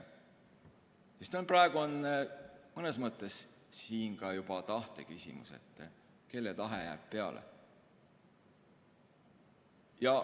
Sest praegu on mõnes mõttes siin ka juba tahteküsimus, et kelle tahe jääb peale.